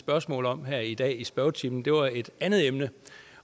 spørgsmål om her i dag i spørgetimen var et andet emne